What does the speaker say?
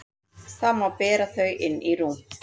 Þá má bera þau inn í rúm.